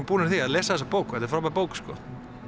búnir að því að lesa þessa bók og þetta er frábær bók sko